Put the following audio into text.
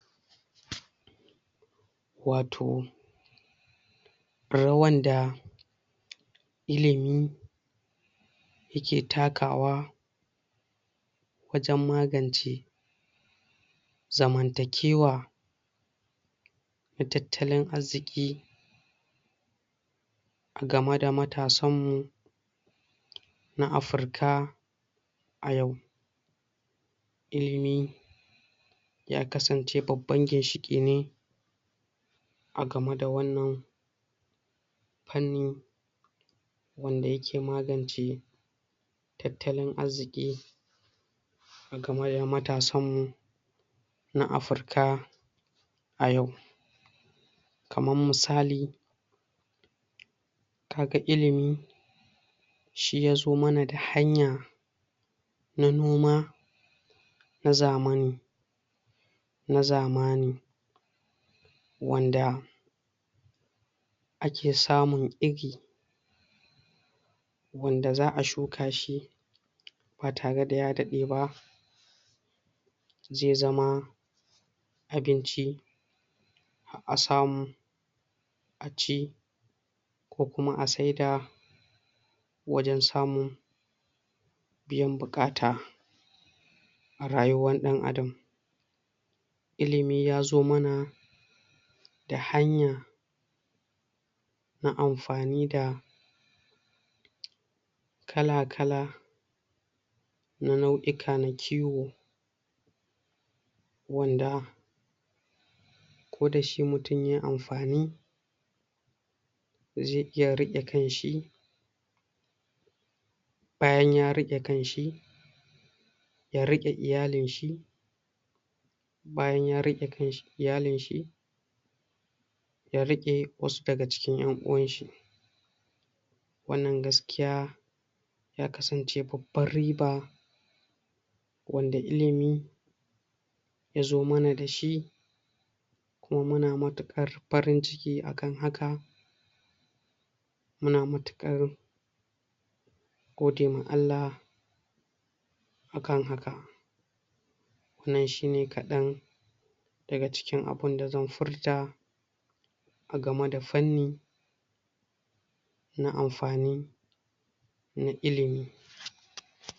Wato rawan da ilimi ya ke takawa wajen magance zamantakewa da tattalin arziki a game da matasan mu na Afirka a yau Ilimi ya kasance babban ginshiƙi ne a game da wannan fanni wanda yake magance tattalin arziki a game da matasan mu na afirka a yau Kamar misali ka ga ilimi shi yazo mana da hanya na noma? na zamaːni wanda ake samun iri wanda za a shuka shi ba tare da ya daɗe ba zai zama abinci har a samu a ci ko kuma a saida wajen samun biyan buƙata a rayuwar ɗan adam Ilimi yazo mana da hanya na amfani da kala-kala na nau'ika na kiwo wanda ko dashi mutum yayi amfani zai iya riƙe kan shi bayan ya riƙe kan shi ya riƙe iyalin shi bayan ya riƙe iyalin shi ya riƙe wasu daga cikin ƴan uwan shi Wannan gaskiya ya kasance babbar riba wanda ilimi yazo mana dashi kuma muna matuƙar farin ciki a kan haka muna matuƙar gode wa Allah a kan haka wannan shine kaɗan daga cikin abinda zan furta a game da fanni na amfani na ilimi.